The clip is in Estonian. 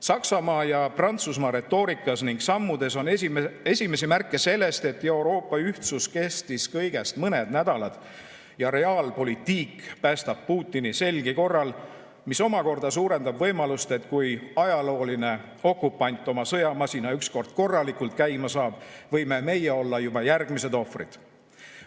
Saksamaa ja Prantsusmaa retoorikas ning sammudes on esimesi märke sellest, et Euroopa ühtsus kestis kõigest mõned nädalad ja realpolitik päästab Putini selgi korral, mis omakorda suurendab võimalust, et kui ajalooline okupant oma sõjamasina ükskord korralikult käima saab, võime meie olla juba järgmised ohvrid.